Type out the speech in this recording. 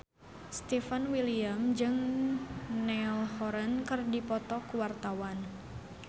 Stefan William jeung Niall Horran keur dipoto ku wartawan